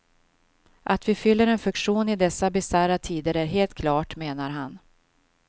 Att vi fyller en funktion i dessa bisarra tider är helt klart, menar han.